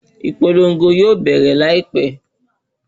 Ìpolongo yóò bẹ̀rẹ̀ láìpé.